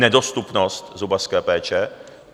Nedostupnost zubařské péče.